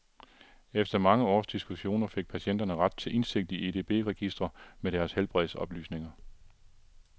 Efter mange års diskussioner fik patienter ret til indsigt i edb-registre med deres helbredsoplysninger.